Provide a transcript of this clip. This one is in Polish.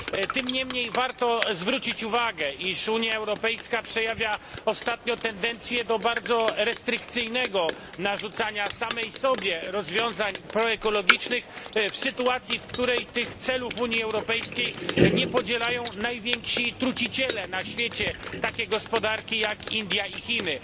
Tym niemniej warto zwrócić uwagę, iż Unia Europejska przejawia ostatnio tendencje do bardzo restrykcyjnego narzucania samej sobie rozwiązań proekologicznych w sytuacji, w której tych celów Unii Europejskiej nie podzielają najwięksi truciciele na świecie, takie gospodarki jak Indie i Chiny.